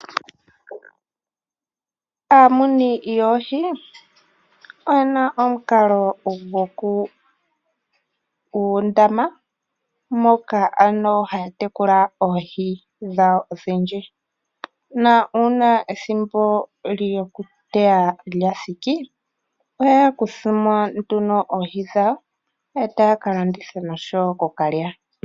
Aamuni yoohi oyena omukalo dhuundama moka ano haya tekula oohi dhawo odhindji. Na uuna ethimbo lyokuteya lya thiki ohaya kuthamo nduno oohi dhawo etaya kalanditha noshowo okuka lya.